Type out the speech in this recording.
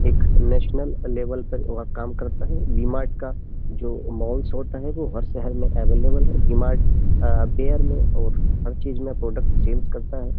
एक national level पर वह काम करता है डीमार्ट का जो मॉल्स होता है वो हर शहर में अवेलेबल है डीमार्ट बेयर में और हर चीज में प्रोडक्ट सेल्स करता है।